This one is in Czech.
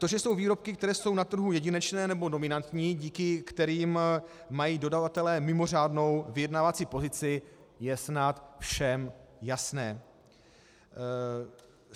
To, že jsou výrobky, které jsou na trhu jedinečné nebo dominantní, díky kterým mají dodavatelé mimořádnou vyjednávací pozici, je snad všem jasné.